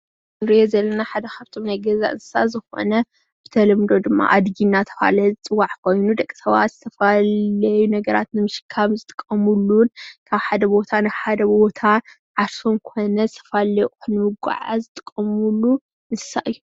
እዚ ንርእዮ ዘለና ሓደ ካብቶም ናይ ገዛ እንስሳት ዝኾነ ብተለምዶ ድማ ኣድጊ እናተባህለ ዝፅዋዕ ኮይኑ ደቂ ሰባት ዝተፈላለዩ ነገራት ንምሽካም ዝጥቀምሉን ካብ ሓደ ቦታ ናብ ሓደ ቦታ ዓርሶም ኮነ ዝተፈላለዩ ኣቑሑ ንምጉዕዓዝ ዝጥቀምሉ እንስሳ እዩ ።